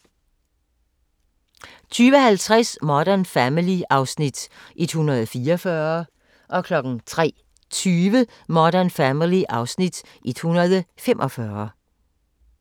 02:00: Cold Case (127:156) 02:50: Modern Family (Afs. 144) 03:20: Modern Family (Afs. 145)